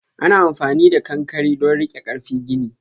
Ana amfani da ƙanƙare don rike karfi gini.